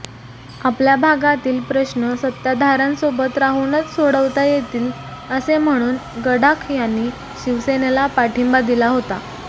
आपल्या भागातील प्रश्न सत्ताधाऱ्यांसोबत राहूनच सोडवता येतील असे म्हणून गडाख यांनी शिवसेनेला पाठींबा दिला होता